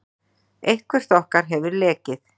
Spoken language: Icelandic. Eitthvert okkar hefur lekið.